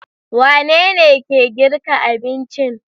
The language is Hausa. Wanene ke girki abincin?